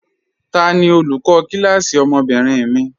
Tani olùkọ kílásí ọmọ́bìnrin mi?